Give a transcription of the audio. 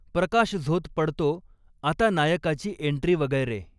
प्रकाश झोत पडतो आता नायकाची एंन्ट्री वगैरे